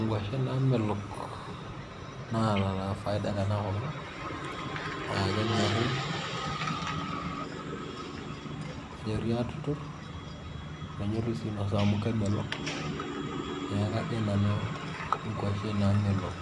Nkuashen naamelook naata taa faida tana nkopang. Naa kenyorri atuturu nenyorri si nosaa amu kamelook. Naa kajo nanu nkuashen namelook